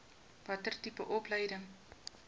watter tipe opleiding